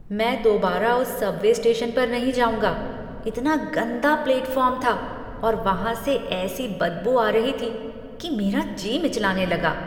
मैं दोबारा उस सबवे स्टेशन पर नहीं जाऊँगा। इतना गन्दा प्लेटफ़ॉर्म था और वहाँ से ऐसी बदबू आ रही थी कि मेरा जी मिचलाने लगा।